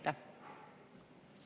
Aitäh!